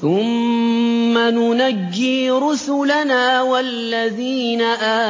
ثُمَّ نُنَجِّي رُسُلَنَا وَالَّذِينَ